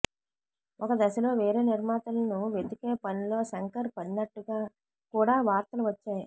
ఒక దశలో వేరే నిర్మాతలను వెతికేపనిలో శంకర్ పడినట్టుగా కూడా వార్తలు వచ్చాయి